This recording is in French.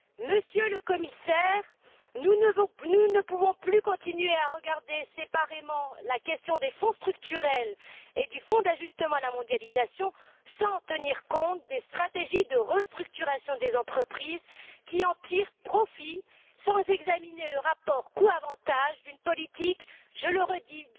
Monsieur le Commissaire, nous ne pouvons plus continuer à regarder séparément la question des Fonds structurels et du Fonds d'ajustement à la mondialisation sans tenir compte des stratégies de restructuration des entreprises qui en tirent profit et sans examiner le rapport coûts avantages d'une politique, je le répète